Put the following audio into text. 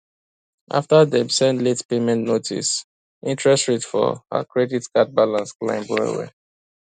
after dem send late payment notice interest rate for her credit card balance climb well well